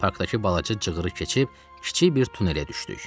Parkdakı balaca cığırı keçib kiçik bir tunelə düşdük.